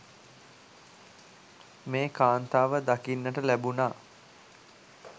මේ කාන්තාව දකින්නට ලැබුනා.